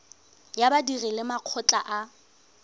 ya badiri le makgotla a